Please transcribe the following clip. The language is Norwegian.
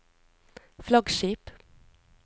flaggskip